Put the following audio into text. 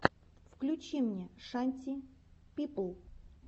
включи мне шанти пипл